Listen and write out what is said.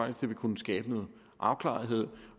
at det vil kunne skabe noget afklaring